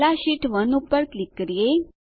પહેલા શીટ 1 પર ક્લિક કરીએ